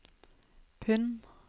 pund